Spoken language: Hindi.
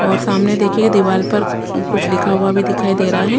और सामने देखिए दीवार पर कुछ लिखा हुआ भी दिखाई दे रहा है।